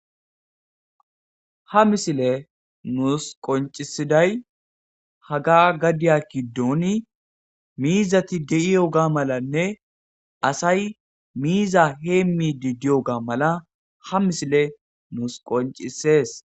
Ha misiley nus qoncisiday hagga gadiya giddoni miizati de'iyoga malanne asay miiza hemmidi diyoga mala ha misiley nus qoncises.